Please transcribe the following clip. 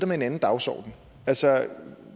med en anden dagsorden altså